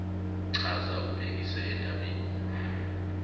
chaza ubhekise endabeni